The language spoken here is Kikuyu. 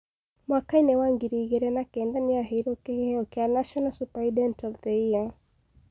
Mwaka-inĩ wa ngiri igĩrĩ na kenda nĩ aheirwo kĩheo kĩa National Superintendent of the Year.